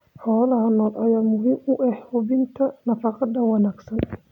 Xoolaha nool ayaa muhiim u ah hubinta nafaqada wanaagsan.